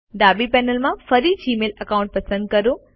ડાબી પેનલમાં ફરી જીમેઇલ એકાઉન્ટ પસંદ કરો